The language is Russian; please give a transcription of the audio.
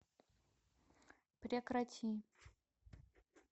прекрати